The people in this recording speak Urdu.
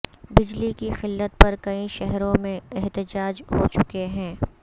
بجلی کی قلت پر کئی شہروں میں احتجاج ہو چکے ہیں